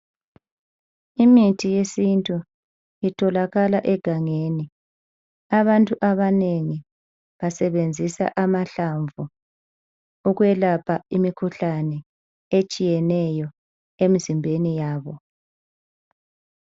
Imithi yesintu itholakala egangeni. Abantu abanengi basebenzisa amahlamvu ukwelapha imkhuhlane etshiyeneyo emzimbeni yabo.